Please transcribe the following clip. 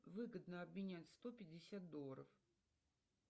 выгодно обменять сто пятьдесят долларов